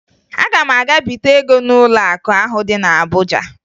Aga m aga bite ego n'ụlọakụ ahụ dị na Abuja